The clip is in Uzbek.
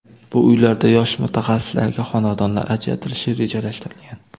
Bu uylarda yosh mutaxassislarga xonadonlar ajratilishi rejalashtirilgan.